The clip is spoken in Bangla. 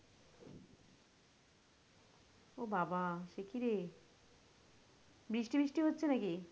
বাবা সেকিরে? বৃষ্টি ফিস্টি হচ্ছে নাকি?